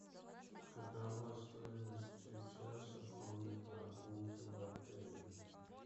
какова стоимость часа конной прогулки в отеле